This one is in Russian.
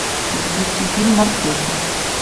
запусти фильм морпехи